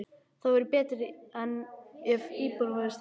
Það væri betra ef íbúðin væri stærri.